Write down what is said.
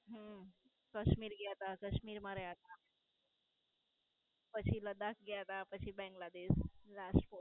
હમ. કાશ્મીર ગયા તા. કાશ્મીર માં રયા તા. પછી લડાખ ગયા ત્યાં પછી બાંગ્લાદેશ Last post